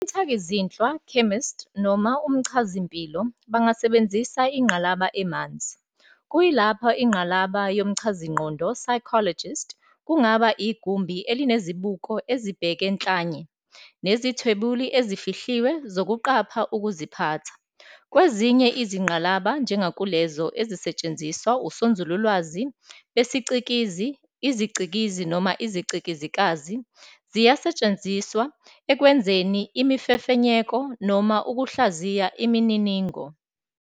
Umthakizinhlwa "chemist" noma umchazimpilo bangasebenzisa ingqalaba emanzi, kuyilapho ingqalaba yomchazingqondo "psychologist" kungaba igumbi elinezibuko ezibheke nhlanye nezithwebuli ezifihliwe zokuqapha ukuziphatha. Kwezinye izingqalaba, njengakulezo ezisetshenziswa usonzululwazi besiCikizi, iziCikizi, noma iziCikizikazi, ziyasetshrnziswa ekwenzeni imifefenyeko noma ukuhlaziya imininingo.